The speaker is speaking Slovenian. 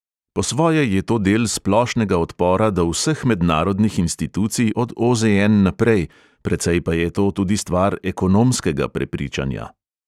Po svoje je to del splošnega odpora do vseh mednarodnih institucij od OZN naprej, precej pa je to tudi stvar ekonomskega prepričanja.